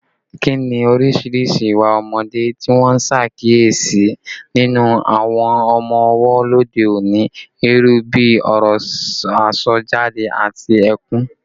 Kí ni oríṣiríṣi ìwà ọmọdé tí wọ́n ń ṣàkíyèsí nínú àwọn ọmọ ọwọ́ lóde òní, irú bí ọ̀rọ̀ àsọjáde àti ẹkún?